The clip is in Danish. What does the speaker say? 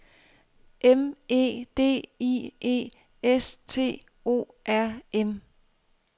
M E D I E S T O R M